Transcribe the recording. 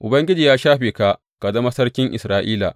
Ubangiji ya shafe ka ka zama sarkin Isra’ila.